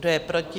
Kdo je proti?